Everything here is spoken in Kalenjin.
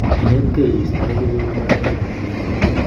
Inetkei iistoegei kewelut age tugul netuiye